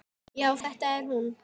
Já, þetta er hún.